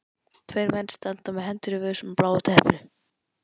Tveir menn standa með hendur í vösum á bláu teppinu.